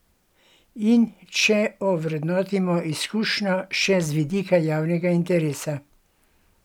In če ovrednotimo izkušnjo še z vidika javnega interesa?